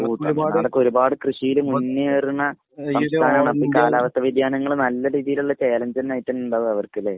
ഒരുപാട് കൃഷിയിൽ മുന്നേറുന്ന സംസ്ഥാനമാണ്. അപ്പോൾ കാലാവസ്ഥാവ്യതിയാനങ്ങൾ നല്ല രീതിയിൽ ഉള്ള ചാലഞ്ച് തന്നെ ആയിട്ടുണ്ടാകും അവർക്ക്. അല്ലെ?